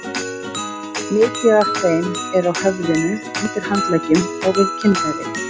Mikið af þeim er á höfðinu, undir handleggjum og við kynfæri.